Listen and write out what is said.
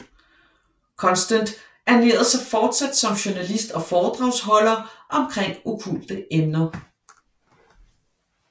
Constant ernærerede sig forsat som journalist og foredragsholder omkring okkulte emner